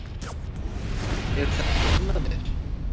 Eru þetta ekki englarnir!